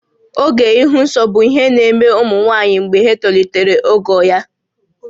Oge ịhụ nsọ bụ ihe na-eme ụmụ nwaanyị mgbe ha tolitere ogo ya